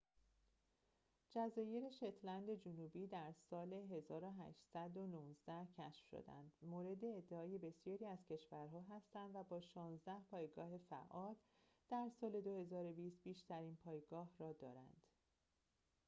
جزایر شتلند جنوبی که در سال ۱۸۱۹ کشف شدند مورد ادعای بسیاری از کشور‌ها هستند و با شانزده پایگاه فعال در سال ۲۰۲۰ بیشترین پایگاه را دارند